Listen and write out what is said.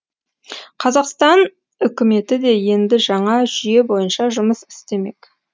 қазақстан үкіметі де енді жаңа жүйе бойынша жұмыс істемек